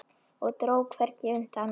Og dró hvergi undan.